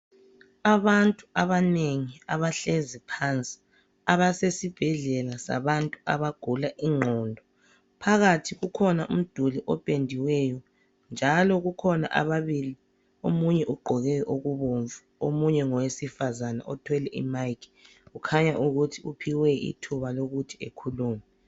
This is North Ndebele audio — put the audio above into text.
Abantu abanengi abahlezi phansi, abasesibhedlela abantu abagula ingqondo. Phakathi kukhona umduli opendiweyo njalo kukhona ababili omunye ugqoke okubomvu omunye ngowesifazane othwele imayikhi kukhanya ukuthi uphiwe ithuba lokuthi ekhulume.